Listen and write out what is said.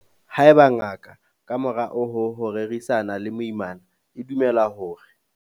haeba ngaka, ka morao ho ho rerisana le moimana, e dumela hore.